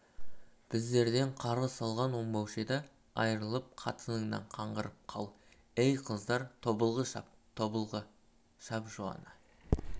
біздерден қарғыс алған оңбаушы еді айрылып қатыныңнан қаңғырып қал ей қыздар тобылғы шап тобылғы шап жуаны